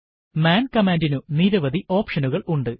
മാൻ കമാൻഡിനു നിരവധി ഓപ്ഷനുകൾ ഉണ്ട്